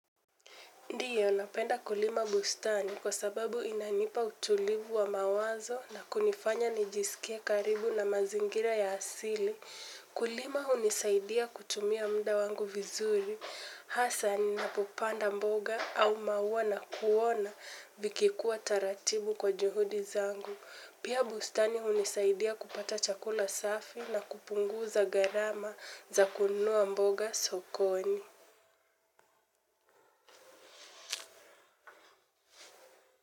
Ndiyo, napenda kulima bustani kwa sababu inanipa utulivu wa mawazo na kunifanya nijisikie karibu na mazingira ya asili. Kulima hunisaidia kutumia muda wangu vizuri. Hasani napopanda mboga au mauwa na kuona vikikuwa taratibu kwa juhudi zangu. Pia bustani hunisaidia kupata chakula safi na kupunguza gharama za kununua mboga sokoni.